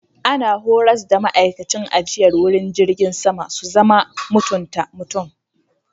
Ana horars da ma'aikacin ajiyar wuri jirgin sama su zama mutunta mutum.